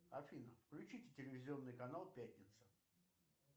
афина включите телевизионный канал пятница